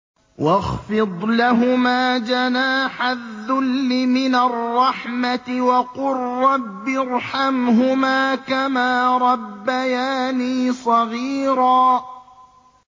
وَاخْفِضْ لَهُمَا جَنَاحَ الذُّلِّ مِنَ الرَّحْمَةِ وَقُل رَّبِّ ارْحَمْهُمَا كَمَا رَبَّيَانِي صَغِيرًا